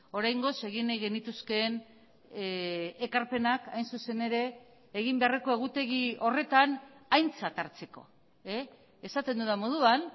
oraingoz egin nahi genituzkeen ekarpenak hain zuzen ere egin beharreko egutegi horretan aintzat hartzeko esaten dudan moduan